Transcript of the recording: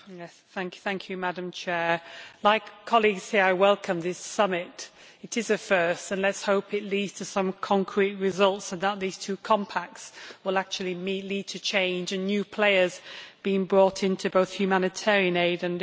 Madam President, like colleagues here, I welcome this summit. It is a first, and let us hope it leads to some concrete results and that these two compacts will actually lead to change and to new players being brought into both humanitarian aid and development aid.